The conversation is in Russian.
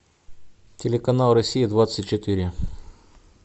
телеканал россия двадцать четыре